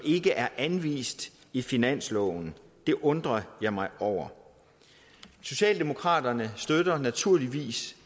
ikke er anvist i finansloven det undrer jeg mig over socialdemokraterne støtter naturligvis